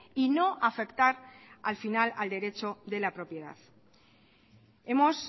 y no afectar al final al derecho de la propiedad hemos